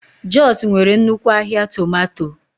Jos nwere nnukwu ahịa tomato.